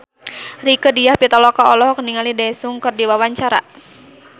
Rieke Diah Pitaloka olohok ningali Daesung keur diwawancara